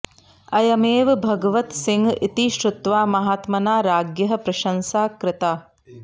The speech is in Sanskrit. अयमेव भगवतसिंहः इति श्रुत्वा महात्मना राज्ञः प्रशंसा कृता